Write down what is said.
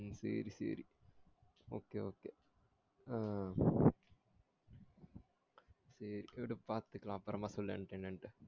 உம் சேரி சேரி okay okay ஆஹ் சேரி விடு பாத்துக்கலாம் அப்பரமா சொல்லு எண்ட என்னண்டு